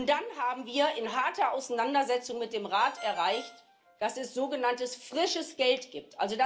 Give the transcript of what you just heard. Dann haben wir in harter Auseinandersetzung mit dem Rat erreicht, dass es sogenanntes frisches Geld gibt.